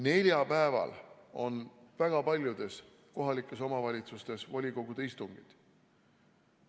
Neljapäeval on väga paljudes kohalikes omavalitsustes volikogude istungid.